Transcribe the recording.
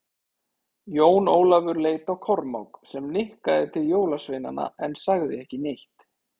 Jón Ólafur leit á Kormák, sem nikkaði til jólasveinana en sagði ekki neitt.